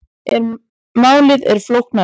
En málið er flóknara.